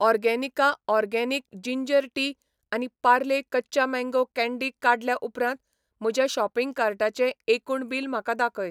Organica organic ginger tea आनी पार्ले कच्चा mango candy काडल्या उपरांत म्हज्या शॉपिंग कार्टाचें एकूण बिल म्हाका दाखय.